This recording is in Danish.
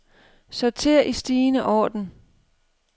Sorter i stigende orden.